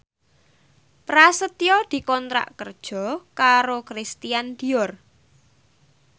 Prasetyo dikontrak kerja karo Christian Dior